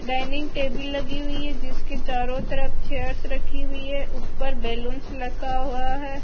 Dining table लगी हुई है जिसके चारों तरफ चेयर्स रखी हुई है ऊपर बलूंस लगा हुआ है।